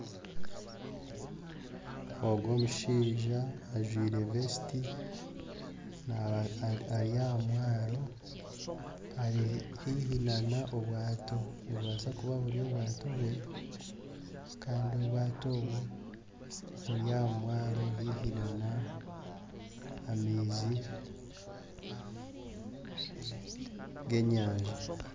Omushaija ajwaire vesiti ari aha mwaro ari haihi nana obwato nitubaasa kuba buri obwato bwe kandi obwato obwo buri aha mwaro haihi nana amaizi g'enyanja